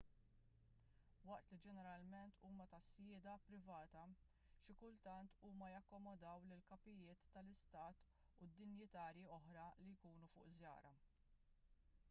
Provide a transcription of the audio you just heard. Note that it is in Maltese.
waqt li ġeneralment huma ta' sjieda privata xi kultant huma jakkomodaw lill-kapijiet tal-istat u dinjitjarji oħra li jkunu fuq żjara